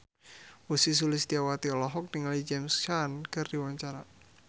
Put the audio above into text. Ussy Sulistyawati olohok ningali James Caan keur diwawancara